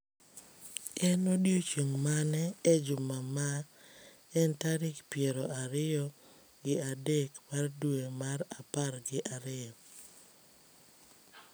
En odiechieng’ mane e juma ma en tarik piero ariyo gi adek mar dwe mar apar gi ariyo?